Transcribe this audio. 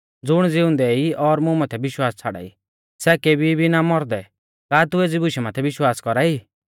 ज़ुण ज़िउंदै ई और मुं माथै विश्वास छ़ाड़ाई सै केबी भी ना मौरदै का तू एज़ी बुशा माथै विश्वास कौरा ई